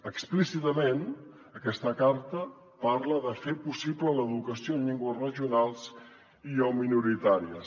explícitament aquesta carta parla de fer possible l’educació en llengües regionals i o minoritàries